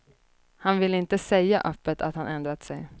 Han vill inte säga öppet att han ändrat sig.